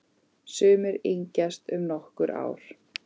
Sumir yngjast um nokkur ár.